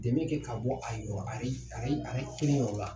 Dɛmɛ kɛ ka bɔ a yɔrɔ a yɛrɛ kelen yɔrɔ la.